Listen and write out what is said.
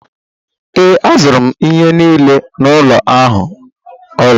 Ee, azụrụ m ihe niile n'ụlọ ahịa ụlọ.